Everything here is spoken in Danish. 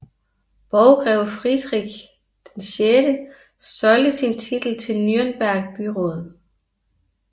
Borggreve Friedrich VI solgte sin titel til Nürnberg byråd